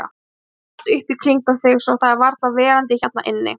Þú æsir allt upp í kringum þig svo það er varla verandi hérna inni.